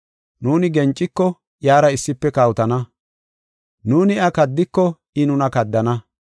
Nuuni genciko, iyara issife kawotana. Nuuni iya kaddiko, I nuna kaddana.